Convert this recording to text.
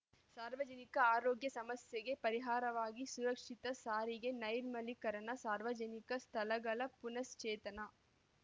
ಸಾರ್ವಜನಿಕ ಆರೋಗ್ಯ ಸಮಸ್ಯೆಗೆ ಪರಿಹಾರವಾಗಿ ಸುರಕ್ಷಿತ ಸಾರಿಗೆ ನೈರ್ಮಲೀಕರಣ ಸಾರ್ವಜನಿಕ ಸ್ಥಳಗಳ ಪುನ್ಸ್ ಚೇತನ